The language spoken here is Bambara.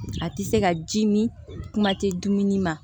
A tɛ se ka ji mi kuma tɛ dumuni ma